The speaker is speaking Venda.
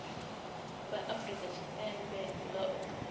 vha afurika tshipembe nga u